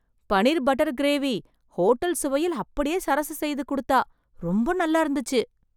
Butter paneer gravy hotel சுவையில் அப்படியே சரசு செய்து குடுத்தா ரொம்ப நல்லா இருந்துச்சு.